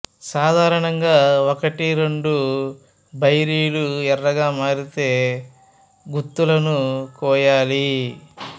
సాధారణంగా ఒకటి రెండు బెర్రీలు ఎర్రగా మారితే గుత్తులను కోయాలి